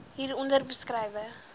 hier onder beskrywe